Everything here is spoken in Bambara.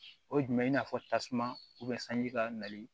O ye jumɛn i n'a fɔ tasuma sanji ka nali